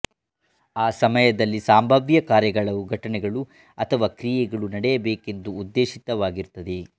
ಆ ಸಮಯಗಳಲ್ಲಿ ಸಂಭಾವ್ಯ ಕಾರ್ಯಗಳು ಘಟನೆಗಳು ಅಥವಾ ಕ್ರಿಯೆಗಳು ನಡೆಯಬೇಕೆಂದು ಉದ್ದೇಶಿತವಾಗಿರುತ್ತದೆ